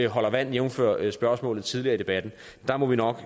holder vand jævnfør spørgsmålet tidligere i debatten der må vi nok